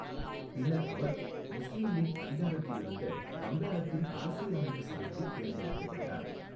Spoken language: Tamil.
பின்னர் அவர் முஸ்லீம் லீக் அதிகாரத்தில் இருந்த வங்காளத்தின் அரசியலமைப்பு சபைக்கு தேர்ந்தெடுக்கப்பட்டார்.